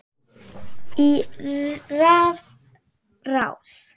í rafrás